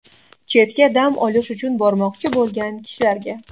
Chetga dam olish uchun bormoqchi bo‘lgan kishilarga.